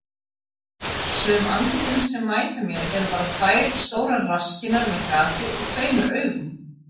Sum andlitin sem mæta mér eru bara tvær stórar rasskinnar með gati og tveimur augum.